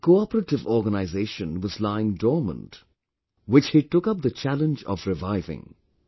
This cooperative organization was lying dormant, which he took up the challenge of reviving